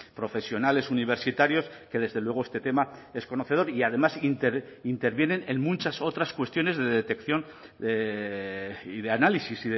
profesionales universitarios que desde luego este tema es conocedor y además intervienen en muchas otras cuestiones de detección y de análisis